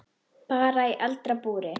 Bara í eldra búri.